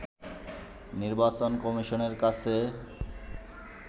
নির্বাচন কমিশনের কাছে